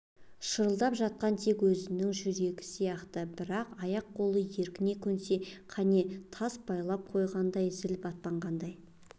шырылдап жатқан тек өзінің жүрегі сияқты бірақ аяқ-қолы еркіне көнсе кәне тас байлап қойғандай зіл-батпан қалай